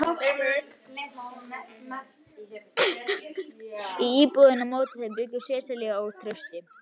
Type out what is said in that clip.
Í íbúðinni á móti þeim bjuggu Sesselía og Trausti.